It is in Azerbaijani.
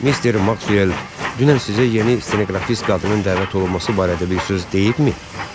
Mister Maksuel dünən sizə yeni stenoqrafist qadının dəvət olunması barədə bir söz deyibmi?